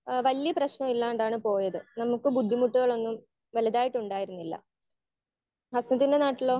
Speaker 1 ഏഹ് വല്യ പ്രെശ്നം ഇല്ലാണ്ടാണ് പോയത്. ഞങ്ങക്ക് ബുദ്ധിമുട്ടുകൾ ഒന്നും വലുതായിട്ട് ഉണ്ടായിരുന്നില്ല. ഹസനത്തിന്റെ നാട്ടിലോ?